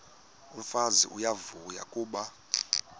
umfazi uyavuya kuba